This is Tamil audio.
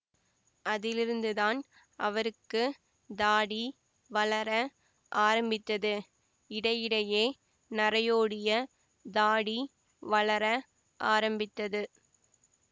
அதிலிருந்துதான் அவருக்கு தாடி வளர ஆரம்பித்தது இடையிடையே நரையோடிய தாடி வளர ஆரம்பித்தது